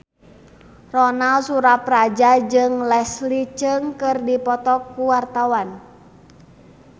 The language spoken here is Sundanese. Ronal Surapradja jeung Leslie Cheung keur dipoto ku wartawan